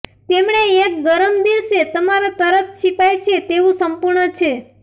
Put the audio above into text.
તેમણે એક ગરમ દિવસે તમારા તરસ છીપાય છે તેવું સંપૂર્ણ છે